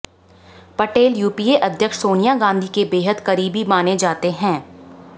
Patel UPA अध्यक्ष सोनिया गांधी के बेहद करीबी माने जाते है